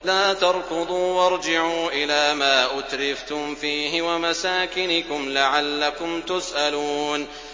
لَا تَرْكُضُوا وَارْجِعُوا إِلَىٰ مَا أُتْرِفْتُمْ فِيهِ وَمَسَاكِنِكُمْ لَعَلَّكُمْ تُسْأَلُونَ